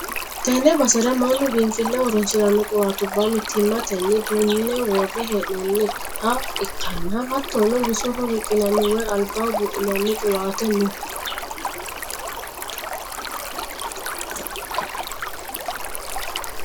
Tenne basera mannu biinfilleho horonsi'ranno qiwaatubba mittimmatenni duunne worre hee'noonni ha ikkanna, hattono bisoho riqqinanni woy albaho buudhinanni qiwaate no.